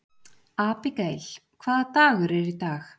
Abigael, hvaða dagur er í dag?